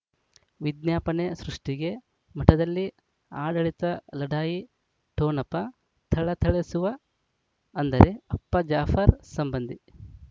ವಿಜ್ಞಾಪನೆ ಸೃಷ್ಟಿಗೆ ಮಠದಲ್ಲಿ ಆಡಳಿತ ಲಢಾಯಿ ಠೊಣಪ ಥಳಥಳಿಸುವ ಅಂದರೆ ಅಪ್ಪ ಜಾಫರ್ ಸಂಬಂಧಿ